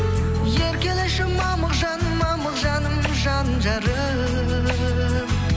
еркелеші мамық жаным мамық жаным жан жарым